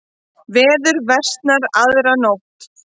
Veður versnar aðra nótt